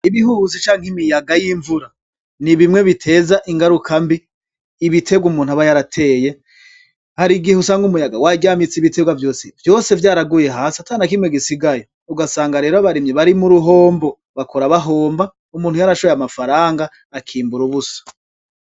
Ibihuhusi canke imiyaga y'imvura ni bimwe biteza ingaruka mbi ibiterwa umuntu aba yarateye hari igihe usanga umuyaga waryamitse ibiterwa vyose , vyose vyaraguye hasi ata na kimwe gisigaye ugasanga rero abarimyi bari mu ruhombo bakora bahomba umuntu yarashoboye amafaranga akimbura ubusa.